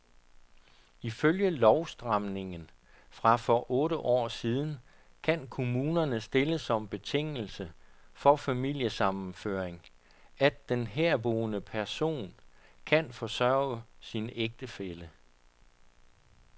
Ifølge lovstramningen fra for otte år siden kan kommunerne stille som betingelse for familiesammenføring, at den herboende person kan forsørge sin ægtefælle.